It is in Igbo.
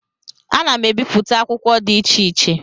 Ana m ebipụta akwụkwọ dị iche iche